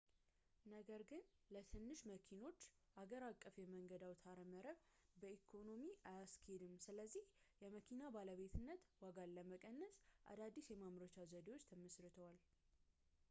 ነገር ግን ለትንሽ መኪኖች ሀገር አቀፍ የመንገድ አውታረመረብ በኢኮኖሚ አያስኬድም ስለዚህ የመኪና ባለቤትነት ዋጋን ለመቀነስ አዳዲስ የማምረቻ ዘዴዎች ተመሥርተዋል